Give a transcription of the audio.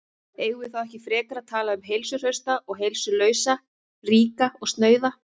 Eigum við þá ekki frekar að tala um heilsuhrausta og heilsulausa, ríka og snauða?